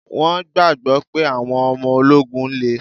Wọn gbagbọ pé àwọn ọmọ ológun le